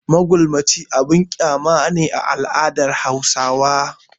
Magulmaci abin kyama ne a al'adar Hausawa.